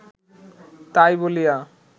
তাই বলিয়া